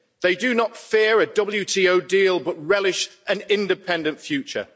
They do not fear a WTO deal but relish an independent future.